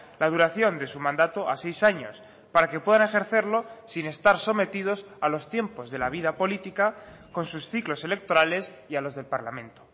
la duración de su mandato a seis años para que puedan ejercerlo sin estar sometidos a los tiempos de la vida política con sus ciclos electorales y a los del parlamento